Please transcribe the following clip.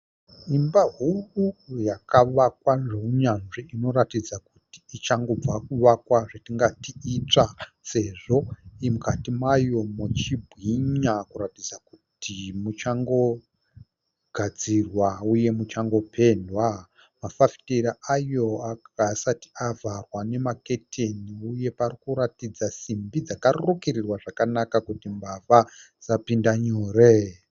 Imba huru yakavakwa neunyanzvi inoratidza kuti ichangobva kuvakwa zvatingati itsva sezvo mukati mayo muchibwinya kuratidza kuti muchangogadzirwa uye muchangopendwa, mafafitera ayo haasati avharwa nemaketeni uye parikuratidza simbi dzakarukirirwa zvakanaka kuti mbavha dzisapinda nyore.